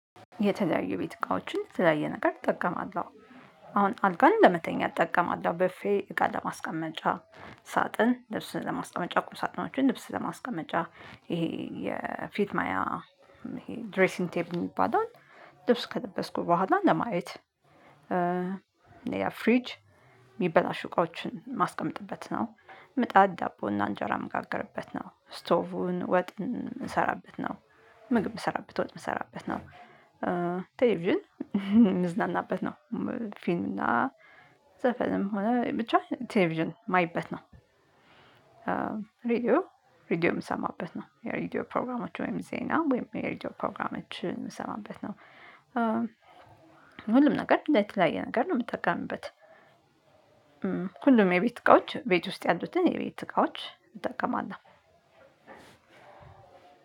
የተለያዩ ቤት እቃዎችን ተለያየ ነገር እጠቀማለሁ። አሁን አልጋን ለመተኛት እጠቀማለሁ። ብፌ እቃ ለማስቀመጫ፤ ሳጥን ልብስን ለማስቀመጫ፤ ቁም ሳጥኖችን ልብስ ለማስቀመጫ፤ ይሄ የፊት ማያ ይሄ ድሬሲንግ ቴብል የሚባለዉን ልብስ ከለበስኩ በኋላ ለማየት ፍሪጅ የሚበላሹ እቋዎችን ማስቀመጥበት ነው። ምጣት ዳቦና እንጀራ የምጋገርበት ነው። ስቶቭ ወጥ የምንሰራበት ነው። ምግብ የምንሰራበት ወጥ የምንሰራበት ነው። ቴሌቪዥን ምዝናናበት ነው። ፊልም እና ዘፈንም ሆነ ብቻ ቴሌቪዥን የማይበት ነው። ሪዲዮ ሪዲዮ የምሰማበት ነው። የሪዲዮ ፕሮግራሞች ወይም ዜና ወይም ሪድዮ ፕሮግራሞችን የምሰማበት ነው። ሁሉም ነገር ለተለያየ ነገር ነው የምትጠቀምበት። ሁሉም የቤት እቃዎች ቤት ውስጥ ያሉትን የቤት እቃዎች እጠቀማለሁ።